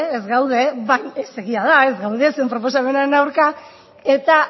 ez gaude egia da ez gaude zuen proposamenaren aurka eta